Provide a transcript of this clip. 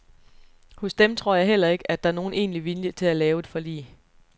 Hos dem tror jeg heller ikke, at der er nogen egentlig vilje til at lave et forlig.